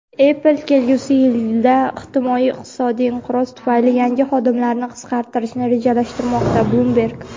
"Apple" kelgusi yilda ehtimoliy iqtisodiy inqiroz tufayli yangi xodimlarni qisqartirishni rejalashtirmoqda – "Bloomberg".